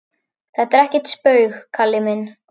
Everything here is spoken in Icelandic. Þetta er ekkert spaug, Kalli minn.